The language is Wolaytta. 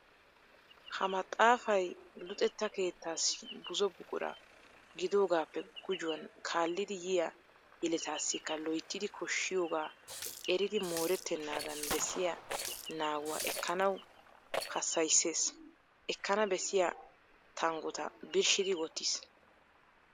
Ha maxaafay luxetta keettaassi buzo buqura gidoogaappe gujuwan kaallidi yiya yeletaassikka loyttidi koshshiyogaa eridi moorettennaadan bessiya naaguwa ekkanawu hassayisses. Ekkana bessiya tanggota birshshidi wottiis.